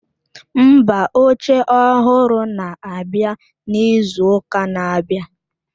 Mba, oche ọhụrụ na-abịa n'izu ụka na-abịa.